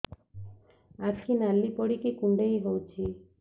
ଆଖି ନାଲି ପଡିକି କୁଣ୍ଡେଇ ହଉଛି